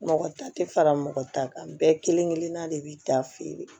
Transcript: Mɔgɔ ta tɛ fara mɔgɔ ta kan bɛɛ kelen kelenna de b'i ta feere